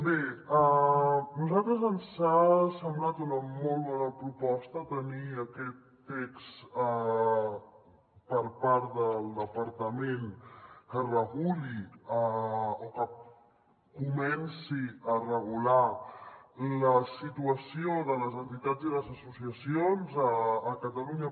bé a nosaltres ens ha semblat una molt bona proposta tenir aquest text per part del departament que reguli o que comenci a regular la situació de les entitats i les associacions a catalunya